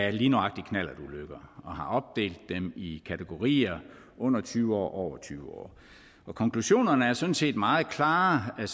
af lige nøjagtig knallertulykker og har opdelt dem i kategorierne under tyve år og over tyve år konklusionerne er sådan set meget klare